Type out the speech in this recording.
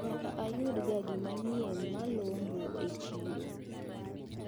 Nyaka ayudga gimanyien malombo e chiro.